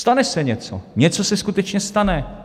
Stane se něco, něco se skutečně stane.